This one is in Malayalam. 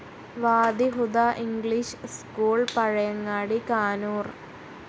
Wadi Huda English school, Pazhayangadi, Kanoor